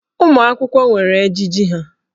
Ụmụ akwụkwọ nwere ejiji ha.